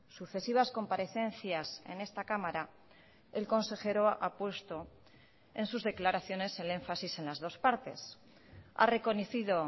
sucesivas comparecencias en esta cámara el consejero ha puesto en sus declaraciones el énfasis en las dos partes ha reconocido